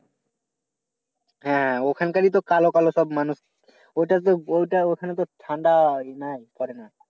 হ্যাঁ ওখান কারি তো কালো কালো সব মানুষ। ওইটার যে ওইটা ওখানকার ঠান্ডা